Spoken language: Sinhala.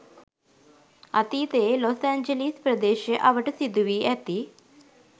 අතීතයේ ලොස් ඇන්ජලීස් ප්‍රදේශය අවට සිදුවී ඇති